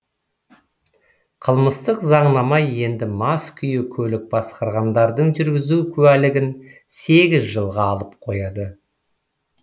қылмыстық заңнама енді мас күйі көлік басқарғандардың жүргізу куәлігін сегіз жылға алып қояды